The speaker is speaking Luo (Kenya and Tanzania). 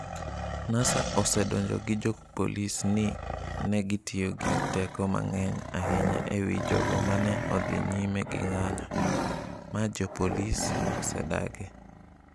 Nasa osedonjo gi jopolisi ni ne gitiyo gi teko mang’eny ahinya e wi jogo ma ne odhi nyime gi ng’anjo, ma jopolisi osedagi.